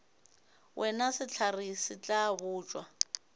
wena sehlare se tla botšwa